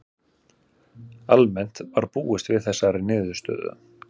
Almennt var búist við þessari niðurstöðu